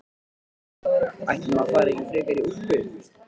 Nei, ætli maður fari ekki frekar í úlpu.